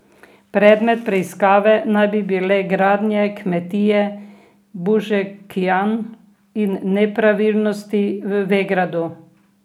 Predmet preiskave naj bi bile gradnja kmetije Bužekijan in nepravilnosti v Vegradu.